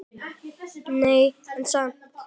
Nei, en samt.